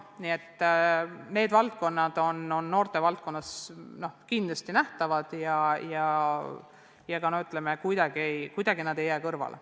Nii et see teema on noortevaldkonnas kindlasti nähtav ega jää kuidagi kõrvale.